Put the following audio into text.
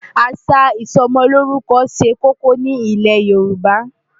Àṣà ìsọmọlórúkọ ṣe kókó ní ilẹ̀ Yorùbá.